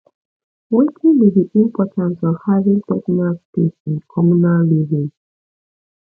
wetin be di importance of having personal space in communal living